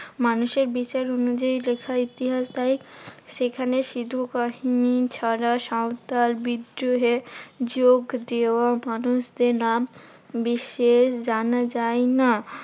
মানুষের বিচার অনুযায়ী লেখা ইতিহাস তাই সেখানে সিধু বাহিনী ছাড়া সাঁওতাল বিদ্রোহে যোগ দেওয়া মানুষদের নাম বিশেষ জানা যায় না।